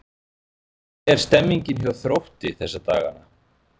Hvernig er stemningin hjá Þrótti þessa dagana?